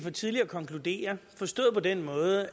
det her sker på en måde